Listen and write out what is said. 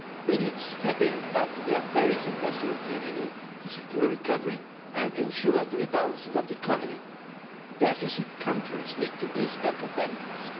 We need to step up their pace across the European Union to secure recovery and ensure the rebalancing of the economy. Deficit' countries need to boost their competitiveness.